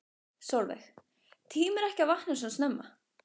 Sólveig: Tímirðu ekki að vakna svona snemma?